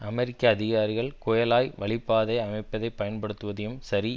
அமெரிக்க அதிகாரிகள் குயழாய் வழிப்பாதை அமைப்பை பயன்படுத்துவதையும் சரி